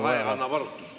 Aeg annab arutust.